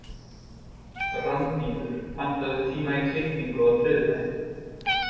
Randíður, pantaðu tíma í klippingu á þriðjudaginn.